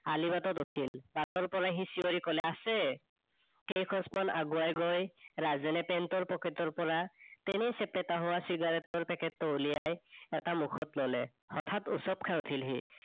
আলিবাটত উঠিল। বাটৰ পৰা সি চিঞৰি কলে, আছে। কেইখোজমান আগোৱাই গৈ ৰাজেনে pant ৰ পকেটৰ পৰা তেনেই ছেপেতা হোৱা চিগাৰেটৰ পেকেটতো উলিয়াই এটা মুখত ললে। হঠাৎ উচপ খাই উঠিল সি